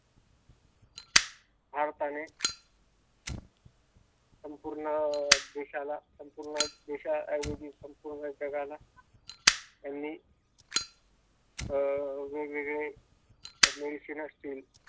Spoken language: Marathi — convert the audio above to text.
ठाम पणे संपूर्ण देशाला संपूर्ण देश ऐवजी संपूर्ण जगाला त्यांनी अं वेगवेगळे मेडिसिन असतील.